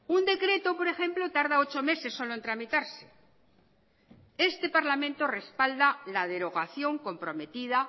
un decreto por ejemplo tarda ocho meses solo en tramitarse este parlamento respalda la derogación comprometida